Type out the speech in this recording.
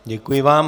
Děkuji vám.